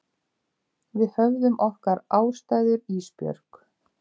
Við höfðum okkar ástæður Ísbjörg.